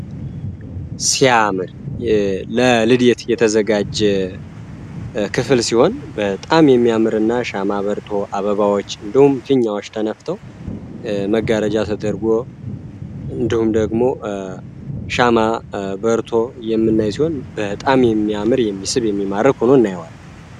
ሲያዓምር ለልድየት የተዘጋጀ ክፍል ሲሆን በህጣም የሚያምር እና ሻማ በርቶ አበባዎች እንደሁም ክኛዎች ተነፍተው መጋረጃ ተደርጎ እንደሁም ደግሞ ሻማ በርቶ የምናይ ሲሆን በሕጣም የሚያምር የሚስብ የሚማረቅ ሆኖ እናይዋል፡፡